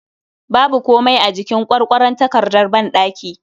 Babu komai a jikin Kwarkwaron takardar banɗaki